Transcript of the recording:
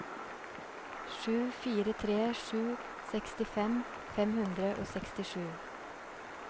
sju fire tre sju sekstifem fem hundre og sekstisju